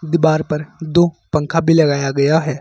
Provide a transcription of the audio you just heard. दीवार पर दो पंखा भी लगाया गया है।